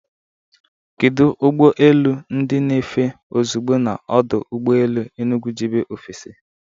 Kedu ụgbọ elu ndị na-efe ozugbo na ọdụ ụgbọ elu Enugu jebe ofesi?